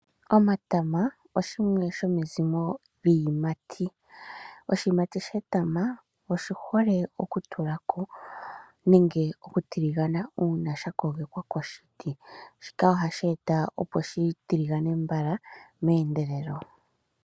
Omatama oshimwe sho miikwamboga. Oshikwamboga she tama oshi hole oku tulako nenge oku tiligana uuna sha kogekwa koshiti. Shika ohashi eta opo shi tiligane mbala meendelelo.